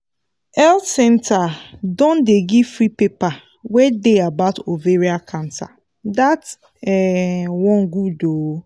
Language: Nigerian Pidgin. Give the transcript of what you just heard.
health centre don dey give free paper wey dey about ovarian cancer that um one good ooo